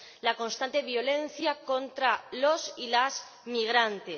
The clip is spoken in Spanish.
la constante violencia contra los y las migrantes.